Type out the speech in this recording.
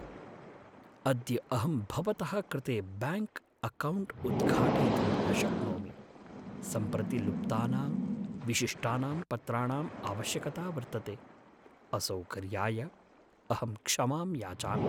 अद्य अहं भवतः कृते ब्याङ्क् अक्कौण्ट् उद्घाटयितुं न शक्नोमि। सम्प्रति लुप्तानां विशिष्टानां पत्राणां आवश्यकता वर्तते। असौकर्याय अहं क्षमां याचामि।